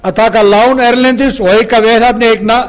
að taka lán erlendis og auka veðhæfni eigna